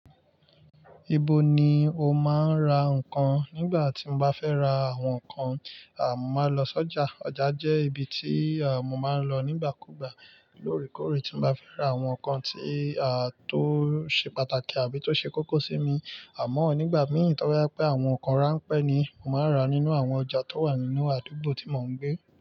Ibo ni o máa ń ra nǹkan? Nígbà tí mo bá fẹ́ ra àwọn nǹkan, mo máa lọ sọ́jà. Ọjà jẹ́ ibi tí mo máa ń lọ nígbàkúùgbà lóòrèkóòrè tí n bá fẹ́ ra àwọn nǹkan tí o ṣe pàtàkì àbí tó ṣe kókó sí mi. Àmọ́ nígbà mìí, to ba je pé àwọn nǹkan ránpẹ́ ni, màá ra nínú àwọn ọjà tó wà nínú àdúgbò tí mò ń gbé.